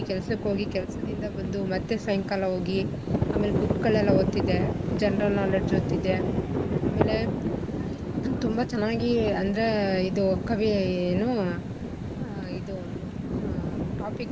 ಕೆಲ್ಸಕ್ ಹೋಗಿ ಕೆಲ್ಸದಿಂದ ಬಂದು ಮತ್ತೆ ಸಾಯ್ಂಕಾಲ ಹೋಗಿ ಆಮೇಲೆ book ಗಳೆಲ್ಲ ಓದ್ತಿದ್ದೆ general knowledge ಓದ್ತಿದ್ದೆ ಆಮೇಲೆ ನಾನ್ ತುಂಬಾ ಚೆನ್ನಾಗಿ ಅಂದ್ರೆ ಇದು ಕವಿ ಏನು ಆ ಇದು ಆ topic ,